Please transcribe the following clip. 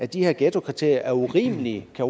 de her ghettokriterier er urimelige kan